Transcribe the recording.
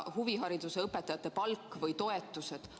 ... huvihariduse õpetajate palk või toetused.